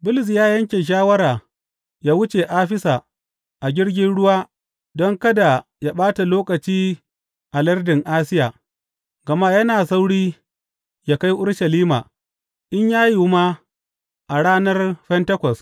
Bulus ya yanke shawara yă wuce Afisa a jirgin ruwa don kada yă ɓata lokaci a lardin Asiya, gama yana sauri yă kai Urushalima, in ya yiwu ma, a ranar Fentekos.